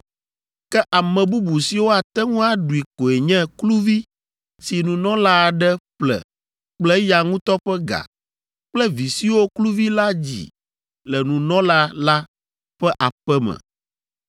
Ke ame bubu siwo ate ŋu aɖui koe nye kluvi si nunɔla aɖe ƒle kple eya ŋutɔ ƒe ga kple vi siwo kluvi la dzi le nunɔla la ƒe aƒe me.